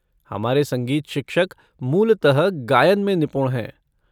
हमारे संगीत शिक्षक मूलतः गायन में निपुण हैं।